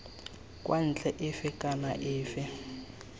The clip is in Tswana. kwa ntle efe kana efe